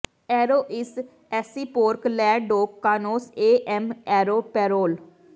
aero ਈਸ ਏਸਸੀ ਪੋਰਕ ਲੇ ਡੌਕ ਕਾਨੌਸ ਏ ਐਮ ਏਰੋ ਪੈਰੋਲ